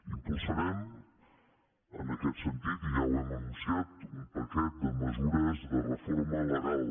impulsarem en aquest sentit i ja ho hem anunciat un paquet de mesures de reforma legal